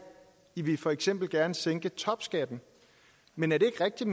i vil for eksempel gerne sænke topskatten men er det ikke rigtigt